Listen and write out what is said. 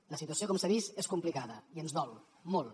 la situació com s’ha vist és complicada i ens dol molt